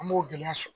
An b'o gɛlɛya sɔrɔ